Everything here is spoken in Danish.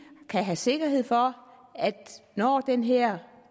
kan have sikkerhed for at det når den her